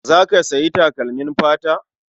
Za ka sayi takalmin fata?